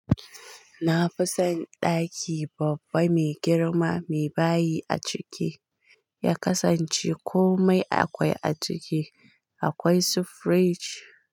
Na fi son ɗaki babba mai girma mai bahayi a ciki ya kasance komai akwai a ciki akwai su frij.